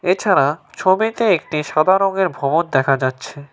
এছাড়া ছবিতে একটি সাদা রংয়ের ভবন দেখা যাচ্ছে।